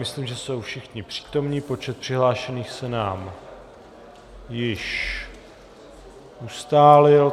Myslím, že jsou všichni přítomni, počet přihlášených se nám již ustálil.